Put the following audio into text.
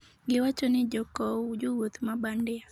giwacho ni jokou jowuoth ma bandia